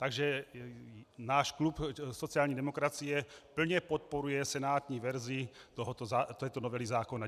Takže náš klub sociální demokracie plně podporuje senátní verzi této novely zákona.